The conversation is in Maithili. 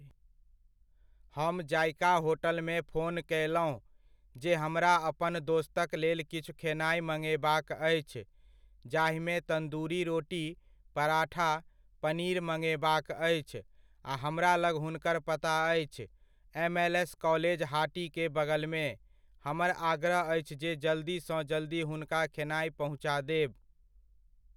हम जायका होटलमे फोन कयलहुॅं, जे हमरा अपन दोस्तकलेल किछु खेनाइ मङेबाक अछि जाहिमे तन्दूरी रोटी, पराठा, पनीर मङेबाक अछि आ हमरालग हुनकर पता अछि, एमएलएस कॉलेज हाटीके बगलमे, हमर आग्रह अछि जे जल्दी सॅं जल्दी हुनका खेनाइ पहुँचा देब।